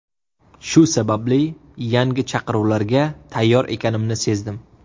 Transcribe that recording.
Shu sababli yangi chaqiruvlarga tayyor ekanimni sezdim.